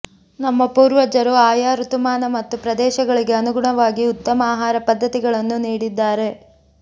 ನಮ್ಮ ಪೂರ್ವಜರು ಆಯಾ ಋತುಮಾನ ಮತ್ತು ಪ್ರದೇಶಗಳಿಗೆ ಅನುಗುಣವಾಗಿ ಉತ್ತಮ ಆಹಾರ ಪದ್ಧತಿಗಳನ್ನು ನೀಡಿದ್ದಾರೆ